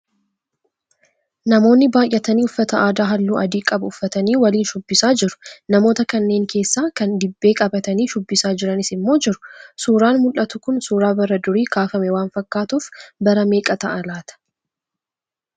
Namoonni baayyatanii uffata aadaa halluu adii qabu uffatanii waliin shubbisaa jiru. Namoota kanneen keessaa kan dibbee qabatanii shubbisaa jiranis immoo jiru. Suuraan mul'atu kun suuraa bara durii kaafame waan fakkaatuuf bara meeqa ta'a laataa?